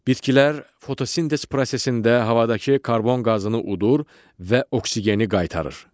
Bitkilər fotosintez prosesində havadakı karbon qazını udur və oksigeni qaytarır.